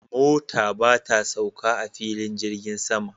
Mota ba ta sauka a filin jirgin sama